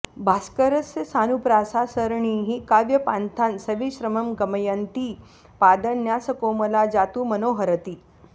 भास्करस्य सानुप्रासा सरणिः काव्यपान्थान् सविश्रमं गमयन्ती पादन्यासकोमला जातु मनोहरति